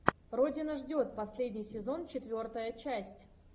родина ждет последний сезон четвертая часть